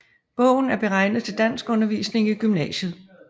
Bogen er beregnet til danskundervisning i gymnasiet